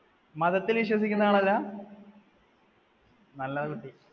മതത്തിൽ വിശ്വസിക്കുന്ന ആളല്ല, നല്ലതാ കുട്ടി.